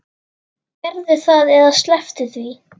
Gerðu það eða slepptu því.